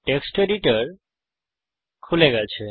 text editor খুলে গেছে